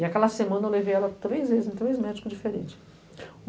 E aquela semana eu levei ela três vezes, em três médicos diferentes.